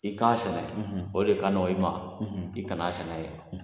I k'a sɛnɛ o le ka nɔgɔ i ma i kana sɛnɛ ye.